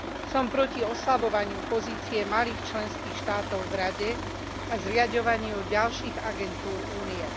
Som proti oslabovaniu pozície malých členských štátov v Rade a zriaďovaniu ďalších agentúr Únie.